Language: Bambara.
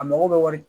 A mago bɛ wari